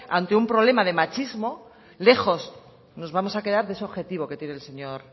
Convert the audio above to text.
ante un problema de machismo lejos nos vamos a quedar de ese objetivo que tiene el señor